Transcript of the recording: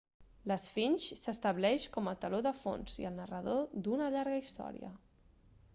l'esfinx s'estableix com a teló de fons i el narrador d'una llarga història